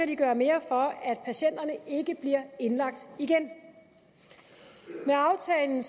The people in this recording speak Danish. de gøre mere for at patienterne ikke bliver indlagt igen med aftalen